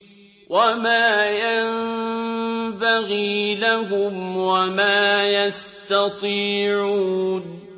وَمَا يَنبَغِي لَهُمْ وَمَا يَسْتَطِيعُونَ